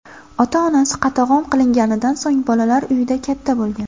Ota-onasi qatag‘on qilinganidan so‘ng bolalar uyida katta bo‘lgan.